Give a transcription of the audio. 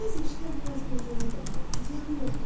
Bəzi işlər biraz gözləyə də bilər, ziyanı yoxdur.